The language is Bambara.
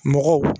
Mɔgɔw